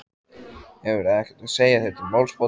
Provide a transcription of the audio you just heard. Hefurðu ekkert að segja þér til málsbóta.